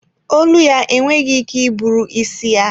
Olu ya enweghị ike iburu isi ya.